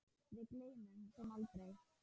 Við gleymum þeim aldrei.